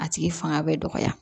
A tigi fanga bɛ dɔgɔya